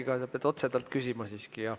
Te peate seda siiski otse temalt küsima.